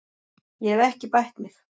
Ég hef ekki bætt mig.